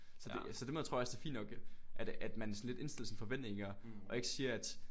Så det så den måde tror jeg også det er fint nok at at man sådan lidt indstiller sine forventninger og ikke siger at